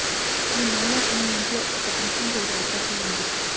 ఈ నెలలో మీ ఇంట్లో ఒక ఫంక్షన్ జరిగే అవకాశం ఉంది